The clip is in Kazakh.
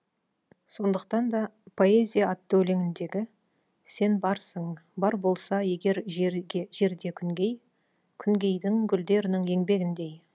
сондықтан да поэзия атты өлеңіндегі сен барсың бар болса егер жерде күнгей күнгейдің гүлдерінің еңбегіндей